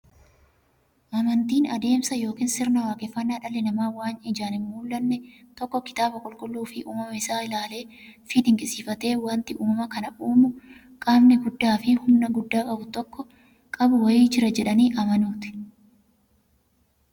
Amantiin adeemsa yookiin sirna waaqeffannaa dhalli namaa waan ijaan hinmullanne tokko kitaaba qulqulluufi uumama isaa isaa ilaaleefi dinqisiifatee, wanti uumama kana uumu qaamni guddaafi humna guddaa qabu wa'ii jira jedhanii amanuuti.